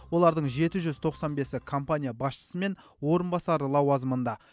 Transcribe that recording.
олардың жеті жүз тоқсан бесі компания басшысы мен орынбасары лауазымында